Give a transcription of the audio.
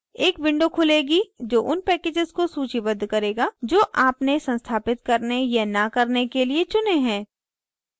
एक window खुलेगी जो उन packages को सूचीबद्ध करेगा जो आपने संस्थापित करने या न करने के लिए चुनें हैं